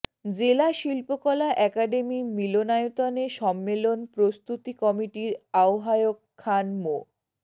জেলা শিল্পকলা একডেমি মিলনায়তনে সম্মেলন প্রস্তুতি কমিটির আহ্বায়ক খান মো